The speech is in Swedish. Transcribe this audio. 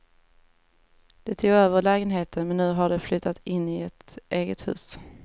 De tog över lägenheten, men nu har de flyttat in i ett eget hus.